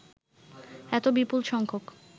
এত বিপুল সংখ্যক